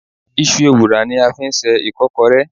Isú èwurá ní a ń fí sẹ ikọkọré